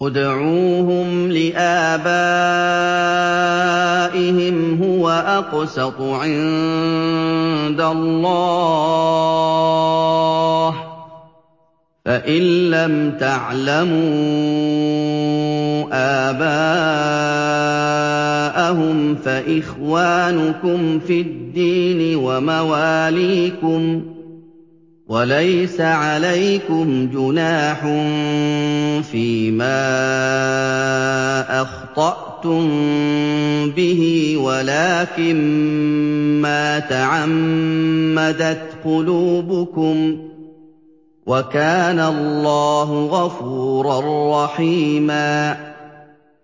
ادْعُوهُمْ لِآبَائِهِمْ هُوَ أَقْسَطُ عِندَ اللَّهِ ۚ فَإِن لَّمْ تَعْلَمُوا آبَاءَهُمْ فَإِخْوَانُكُمْ فِي الدِّينِ وَمَوَالِيكُمْ ۚ وَلَيْسَ عَلَيْكُمْ جُنَاحٌ فِيمَا أَخْطَأْتُم بِهِ وَلَٰكِن مَّا تَعَمَّدَتْ قُلُوبُكُمْ ۚ وَكَانَ اللَّهُ غَفُورًا رَّحِيمًا